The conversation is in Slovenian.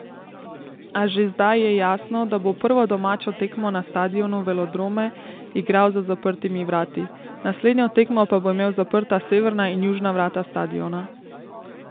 A že zdaj je jasno, da bo prvo domačo tekmo na stadionu Velodrome igral za zaprtimi vrati, naslednjo tekmo pa bo imel zaprta severna in južna vrata stadiona.